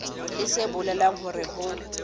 leng se bolelang hore ho